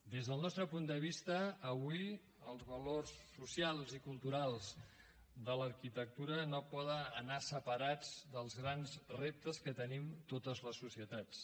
des del nostre punt de vista avui els valors socials i culturals de l’arquitectura no poden anar separats dels grans reptes que tenim totes les societats